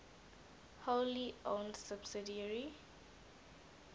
wholly owned subsidiary